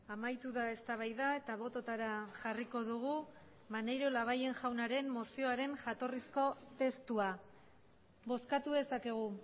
amaitu da eztabaida eta bototara jarriko dugu maneiro labayen jaunaren mozioaren jatorrizko testua bozkatu dezakegu